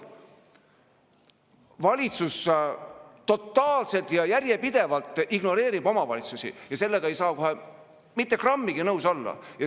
Valitsus totaalselt ja järjepidevalt ignoreerib omavalitsusi ja sellega ei saa kohe mitte grammigi nõus olla.